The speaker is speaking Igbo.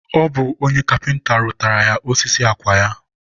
ọ bụ onye kapịnta rụtaara ya osisi akwa ya.